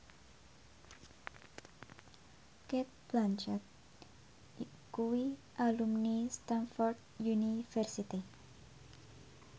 Cate Blanchett kuwi alumni Stamford University